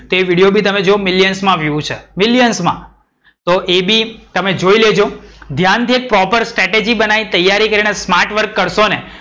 એ video બી તમે જો millions માં views છે millions માં. તો એ બી તમે જોઈ લેજો. ધ્યાન થી એક પ્રોપર strategy બનાઈને smartwork કરશો ને,